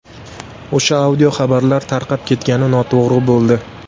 O‘sha audio xabarlar tarqab ketgani noto‘g‘ri bo‘ldi.